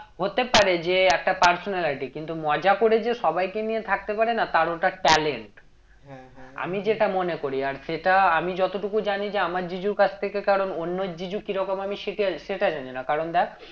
হতে পারে যে একটা personality কিন্তু মজা করে যে সবাই কে নিয়ে থাকতে পারে না তার ওটা talent আমি যেটা মনে করি আর সেটা আমি যতটুকু জানি যে আমার জিজুর কাছ থেকে কারণ অন্যের জিজু কি রকম আমি সেটে~ সেটা জানি না কারণ দেখ